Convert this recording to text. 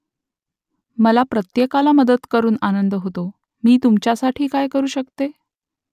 मला प्रत्येकाला मदत करून आनंद होतो . मी तुमच्यासाठी काय करू शकते ?